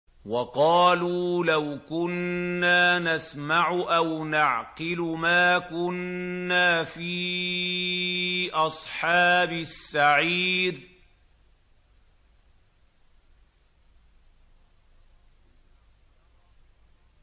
وَقَالُوا لَوْ كُنَّا نَسْمَعُ أَوْ نَعْقِلُ مَا كُنَّا فِي أَصْحَابِ السَّعِيرِ